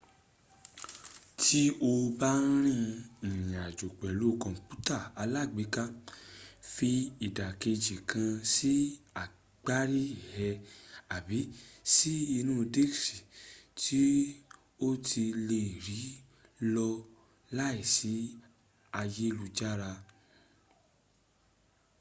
ti o ba n rin irinjo pelu komputa alagbeka fi idakeji kan si agbari e abi si inu diski ti o le ri lo lai si ayelujara